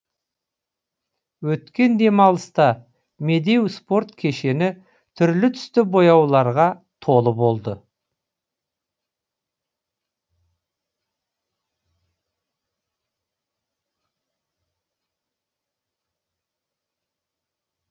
өткен демалыста медеу спорт кешені түрлі түсті бояуларға толы болды